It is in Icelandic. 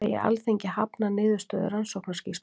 Segja Alþingi hafna niðurstöðu rannsóknarskýrslu